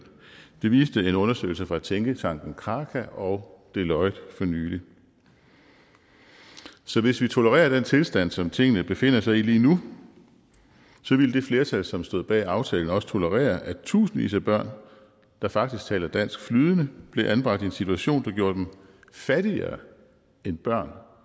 det viste en undersøgelse fra tænketanken kraka og deloitte for nylig så hvis vi tolererer den tilstand som tingene befinder sig i lige nu ville det flertal som stod bag aftalen også tolerere at tusindvis af børn der faktisk taler dansk flydende blev anbragt i en situation der gjorde dem fattigere end børn